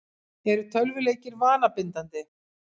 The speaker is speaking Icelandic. Eru tölvuleikir vanabindandi?